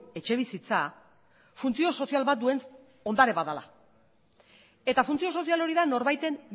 etxebizitza funtzio sozial bat duen ondare bat dela eta funtzio sozial hori da norbaiten